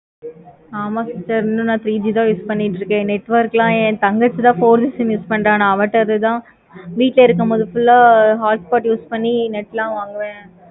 ama sister இன்னு நா three G தான் use பண்ணிக்கிட்டு இருக்கேன். network லாம் என் தங்கச்சி தான் four G use பண்ற. அவத இருக்கும் போது தான் வீட்டுல இறுக்கப்ப full ஆஹ் hotspot use பண்ணி net லாம் வாங்குவேன்.